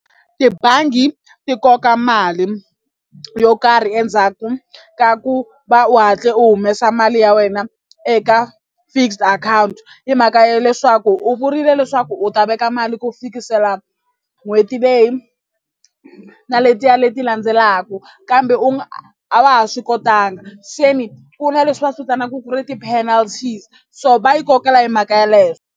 Tibangi ti koka mali yo karhi endzhaku ka ku va u hatle u humesa mali ya wena eka fixed account hi mhaka ya leswaku u vurile leswaku u ta veka mali ku fikisela n'hweti leyi na letiya leti landzelaka kambe u a wa ha swi kotanga se ni ku na leswi va swi vitanaka ku ri ti-penalties so va yi kokela hi mhaka yeleyo.